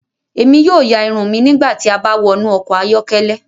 Emi yóò yạ irun mi nigbati a ba wọnu ọkọ ayọkẹlẹ